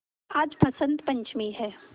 आज बसंत पंचमी हैं